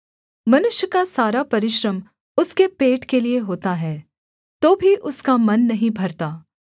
मनुष्य का सारा परिश्रम उसके पेट के लिये होता है तो भी उसका मन नहीं भरता